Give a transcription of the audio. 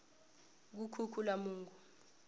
kukhukhulamungu